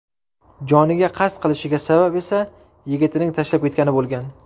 Joniga qasd qilishiga sabab esa yigitining tashlab ketgani bo‘lgan.